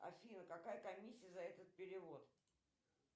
афина какая комиссия за этот перевод